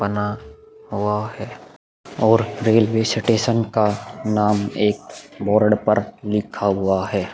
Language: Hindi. बना हुआ है और रेलवे स्टेशन का नाम एक बोरड़ पर लिखा हुआ है।